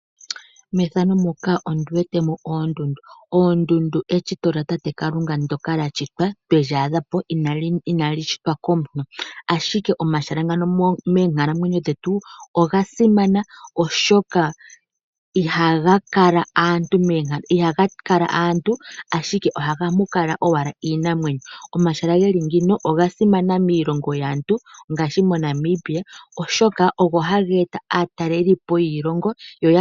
Oondundu eshito lyatate Kalunga ndyoka inali shitwa komuntu. Omahala ngano oga simana moonkalamwenyo dhetu oshoka ihaga kala aantu ohamu kala owala iinamwenyo. Omahala ngano oga simana ngaashi moNamibia oshoka oha geeta aatalelipo kuza kiilongo yilwe.